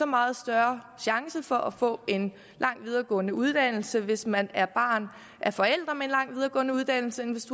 meget større chance for at få en lang videregående uddannelse hvis man er barn af forældre med en lang videregående uddannelse end hvis